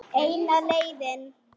Eina leiðin.